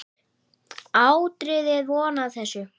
Áttirðu von á þessu?